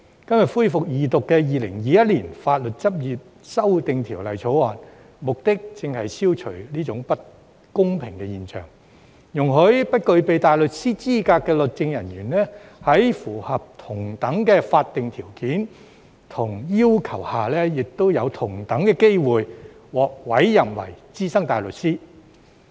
今天恢復二讀的《2021年法律執業者條例草案》，目的正是要消除這種不公平的現象，容許不具備大律師資格的律政人員，在符合同等的法定條件和要求下，享有同等機會獲委任為資深大律師。